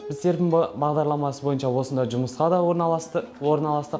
біз серпін бағдарламасы бойынша осында жұмысқа да орналастық